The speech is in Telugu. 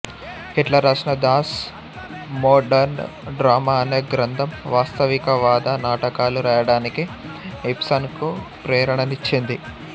హిట్లర్ రాసిన దాస్ మోడర్న్ డ్రామా అనే గ్రంథం వాస్తవికవాద నాటకాలు రాయడానికి ఇబ్సన్ కు ప్రేరణనిచ్చింది